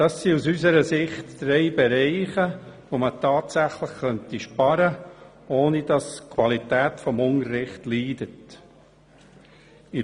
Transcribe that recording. Das sind aus unserer Sicht drei Bereiche, in welchen man tatsächlich sparen könnte, ohne dass die Qualität des Unterrichts leiden würde.